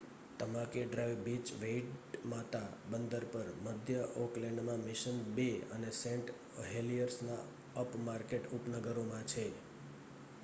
Tamaki drive beach Waitemata બંદર પર મધ્ય ઑકલેન્ડમાં મિશન બે અને સેંટ હેલિયર્સના અપમાર્કેટ ઉપનગરોમાં છે